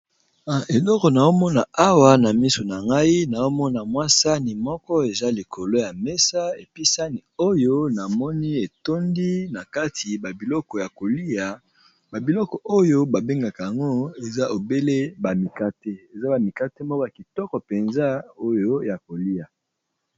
Eloko na omona awa na miso na ngai na omona mwasani moko eza likolo ya mesa episani oyo na moni etondi na kati babiloko ya kolia babiloko oyo babengaka yango eza ebele bamikate eza bamikate moko ya kitoko mpenza oyo ya kolia.